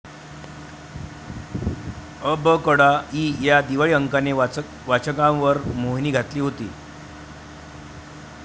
अबकडा' इ या दिवाळी अंकाने वाचकांवर मोहिनी घातली होती.